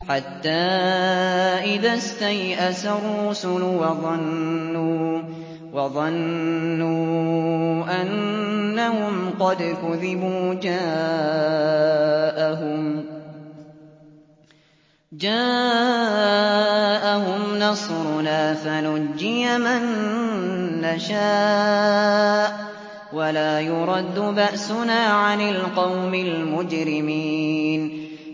حَتَّىٰ إِذَا اسْتَيْأَسَ الرُّسُلُ وَظَنُّوا أَنَّهُمْ قَدْ كُذِبُوا جَاءَهُمْ نَصْرُنَا فَنُجِّيَ مَن نَّشَاءُ ۖ وَلَا يُرَدُّ بَأْسُنَا عَنِ الْقَوْمِ الْمُجْرِمِينَ